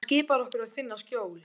Hann skipar okkur að finna skjól.